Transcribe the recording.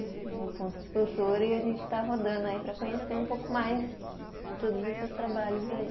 No ponto de cultura e a gente está rodando aí para conhecer um pouco mais de todos esses trabalhos aí.